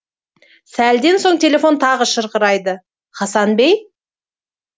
сәлден соң телефон тағы шырқырайды хасан бей